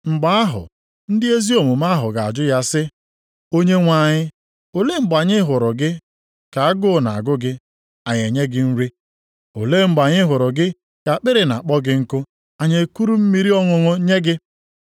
“Mgbe ahụ ndị ezi omume ahụ ga-ajụ ya sị, ‘Onyenwe anyị, olee mgbe anyị hụrụ gị ka agụụ na-agụ gị anyị enye gị nri? Olee mgbe anyị hụrụ gị ka akpịrị na-akpọ gị nkụ, anyị ekuru mmiri ọṅụṅụ nye gị?